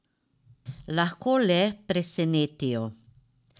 Lahko le presenetijo.